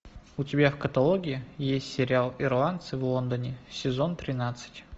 у тебя в каталоге есть сериал ирландцы в лондоне сезон тринадцать